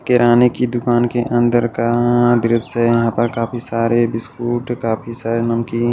किराने की दुकान के अंदर का दृश्य यहां पर काफी सारे बिस्कुट काफी सारे नमकीन--